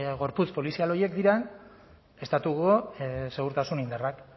gorputz polizial horiek diren estatuko segurtasun indarrak